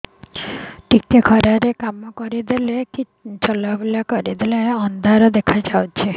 ଟିକେ ଖରା ରେ କାମ କରିଦେଲେ କି ଚଲବୁଲା କରିଦେଲେ ଅନ୍ଧାର ଦେଖା ହଉଚି